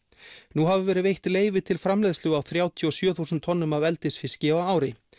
nú hafa verið veitt leyfi til framleiðslu á þrjátíu og sjö þúsund tonnum af eldisfiski á ári